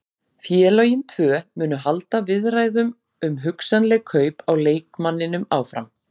Félögin tvö munu halda viðræðum um hugsanleg kaup á leikmanninum áfram.